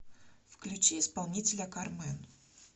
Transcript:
включи исполнителя кармэн